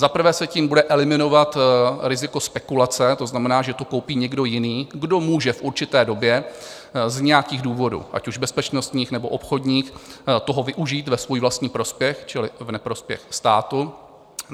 Za prvé se tím bude eliminovat riziko spekulace, to znamená, že to koupí někdo jiný, kdo může v určité době z nějakých důvodů, ať už bezpečnostních, nebo obchodních, toho využít ve svůj vlastní prospěch čili v neprospěch státu.